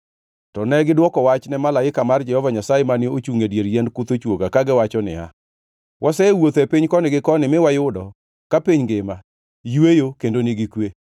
To negidwoko wach ne malaika mar Jehova Nyasaye, mane ochungʼ e dier yiend kuth ochwoga, kagiwacho niya, “Wasewuotho e piny koni gi koni mi wayudo ka piny ngima yweyo kendo nigi kwe.”